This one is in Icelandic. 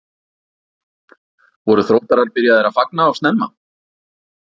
Voru Þróttarar byrjaðir að fagna of snemma?